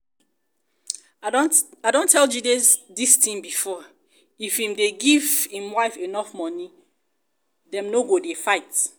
i don tell jide dis thing before if im dey give im wife enough money dem no go dey fight